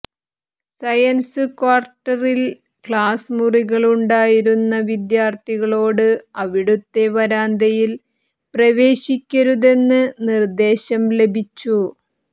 science ക്വാർട്ടറിൽ class മുറികള് ഉണ്ടായിരുന്ന വിദ്യാർഥികളോട് അവിടുത്തെ വരാന്തയിൽ പ്രവേശിക്കരുതെന്ന് നിർദേശം ലഭിച്ചു